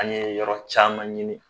An ye yɔrɔ caman ɲini